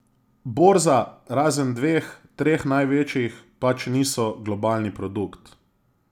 Borza, razen dveh, treh največjih, pač niso globalni produkt.